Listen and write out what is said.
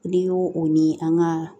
N'i y'o o ni an ka